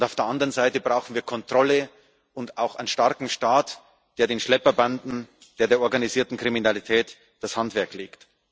Auf der anderen Seite brauchen wir Kontrolle und auch einen starken Staat, der den Schlepperbanden und der organisierten Kriminalität das Handwerk legt.